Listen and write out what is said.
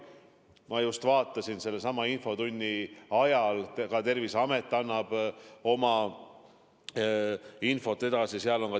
Ma just vaatasin infotunni ajal Terviseameti infot.